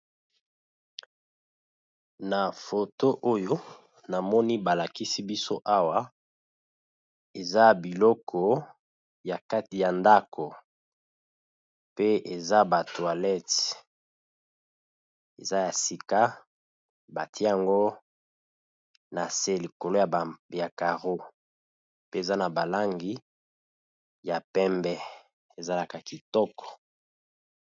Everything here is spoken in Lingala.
Na foto oyo na moni ba lakisi biso awa eza biloko ya kati ya ndako pe eza ba toilette, eza ya sika batie yango na se likolo ya carro pe eza na ba langi ya pembe ezalaka kitoko.